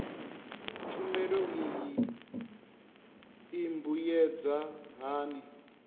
tshumelo iyi i mbuyedza hani